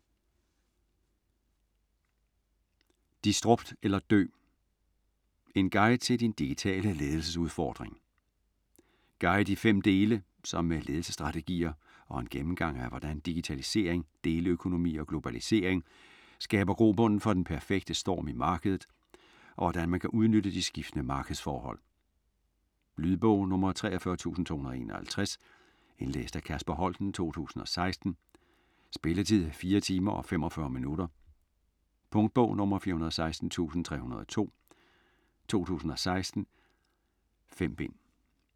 Disrupt eller dø: en guide til din digitale ledelsesudfordring Guide i fem dele, som med ledelsesstrategier og en gennemgang af hvordan digitalisering, deleøkonomi og globalisering skaber grobunden for den perfekte storm i markedet, og hvordan man kan udnytte de skiftende markedsforhold. Lydbog 43251 Indlæst af Kasper Holten, 2016. Spilletid: 4 timer, 45 minutter. Punktbog 416302 2016. 5 bind.